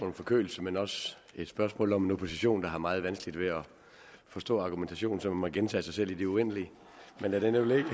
om forkølelse men også et spørgsmål om en opposition der har meget vanskeligt ved at forstå argumentationen så man må gentage sig selv i det uendelige men lad det nu ligge